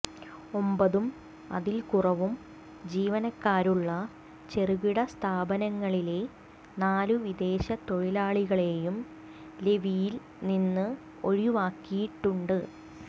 ഒമ്പതും അതിൽ കുറവും ജീവനക്കാരുള്ള ചെറുകിട സ്ഥാപനങ്ങളിലെ നാലു വിദേശ തൊഴിലാളികളെയും ലെവിയിൽനിന്ന് ഒഴിവാക്കിയിട്ടുണ്ട്